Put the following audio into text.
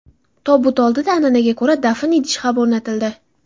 Tobut oldida an’anaga ko‘ra dafn idishi ham o‘rnatildi.